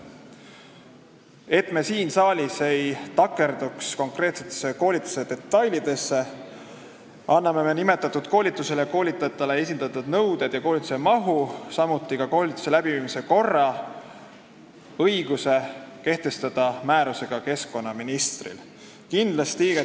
Et me siin saalis ei takerduks koolituse konkreetsetesse detailidesse, anname nimetatud koolitusele ja koolitajatele esitatavate nõuete ja koolituse mahu, samuti koolituse läbiviimise korra kehtestamise õiguse keskkonnaministrile, kes teeb seda oma määrusega.